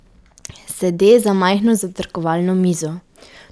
Sede za majhno zajtrkovalno mizo.